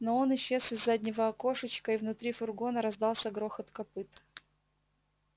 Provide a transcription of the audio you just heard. но он исчез из заднего окошечка и внутри фургона раздался грохот копыт